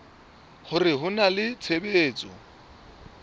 hore ho na le tshebetso